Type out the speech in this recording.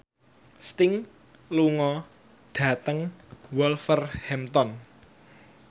Sting lunga dhateng Wolverhampton